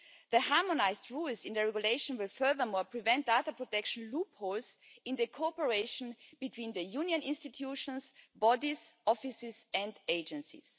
The harmonised rules in the regulation will, furthermore, prevent data protection loopholes in the cooperation between the Union institutions, bodies, offices and agencies.